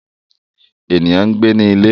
Eniyan n gbe ni ile